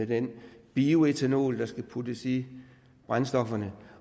den bioætanol der skal puttes i brændstofferne